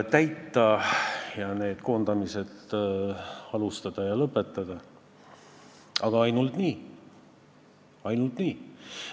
Täitsime koondamisülesande, aga just nimelt nii.